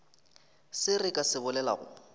se re ka se bolelago